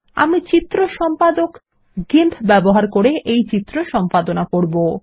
আমি চিত্র সম্পাদক গিম্প ব্যবহার করে এই চিত্র সম্পাদনা করছি